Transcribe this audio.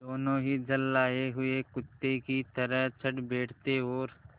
दोनों ही झल्लाये हुए कुत्ते की तरह चढ़ बैठते और